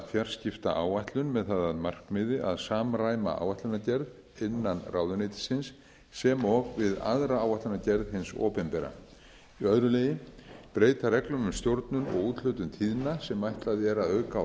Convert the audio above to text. fjarskiptaáætlun með það að markmiði að samræma áætlanagerð innan ráðuneytisins sem og við aðra áætlanagerð hins opinbera annars að breyta reglum um stjórnun og úthlutun tíðna sem ætlað er að auka